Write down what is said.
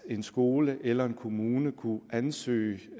en skole eller en kommune kunne ansøge